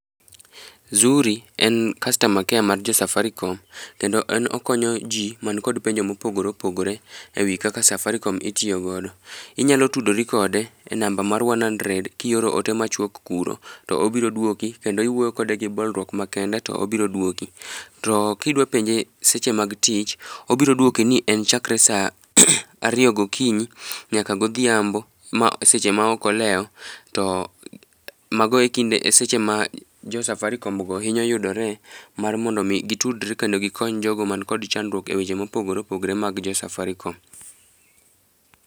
Zuri en customer care mar jo safaricom kendo en okonyo ji man kod penjo ma opogore opogore ewi kaka safaricom itiyo godo. Inyalo tudori kode e namba mar one hundred kioro ote machuok kuro to obiro duoki kendo iwuoyo kode gi bolruok makende to obiro duoki. To kidwa penje seche mag tich, to obiro duoki ni en chakre saa ariyo gokinyi nyaka godhiambo seche maok olewo to mago ekinde eseche ma jo safaricom go hinyo yudore mar mondo mi gitudre kendo gikony jogo man gi chandruok eweche mopogre opogre mag jo safaricom.